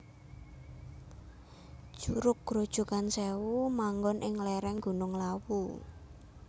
Curug Grojogan Sèwu manggon ing lèrèng Gunung Lawu